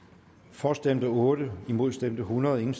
for stemte otte imod stemte hundrede